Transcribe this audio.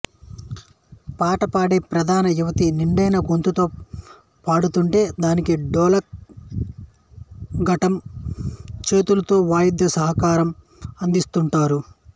పాట పాడే ప్రధాన యువతి నిండైన గొంతుతో పాడుతుంటే దానికి డోలక్ ఘటం చేతులతో వాయిద్య సహకారం అందిస్తుంటారు